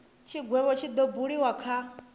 tshigwevho tshi do buliwa kha